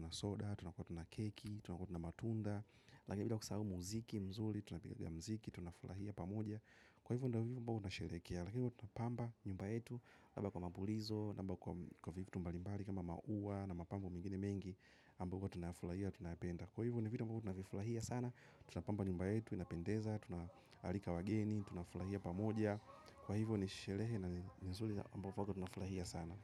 na soda tukuwa na matunnda Lagini pia kusahau muziki mzuli, tunakotu na mziki, tunafulahia pamoja. Kwa hivyo ndavivyo mbao tunasherekea Lagini pia tunapamba nyumba etu. Laba kwa mabulizo, mbao kwa vifu tumbalimbali kama maua na mapambu mingine mengi ambavyo tunafurahia tunapenda. Kwa hivo ni vitu ambavyo tuna vifurahia sana. Tunapamba nyumba yetu inapendeza. Tunahalika wageni. Tunafurahia pamoja. Kwa hivyo nishelehe na nizuli ambapo huwa tunafurahia sana.